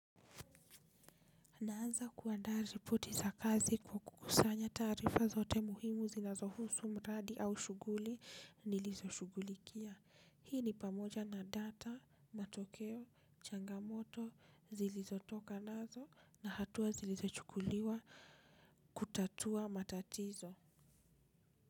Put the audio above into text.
Naanza kuandaa ripoti za kazi kwa kukusanya taarifa zote muhimu zinazohusu mradi au shughuli nilizo shughulikia. Hii ni pamoja na data, matokeo, changamoto zilizotoka nazo na hatua zilizochukuliwa kutatua matatizo.